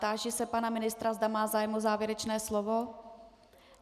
Táži se pana ministra, zda má zájem o závěrečné slovo.